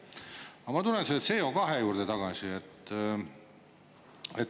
Aga ma tulen selle CO2 juurde tagasi.